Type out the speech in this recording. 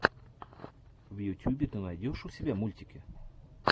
в ютюбе ты найдешь у себя мультики